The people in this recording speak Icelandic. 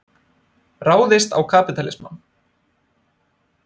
Ráðist á kapítalismann.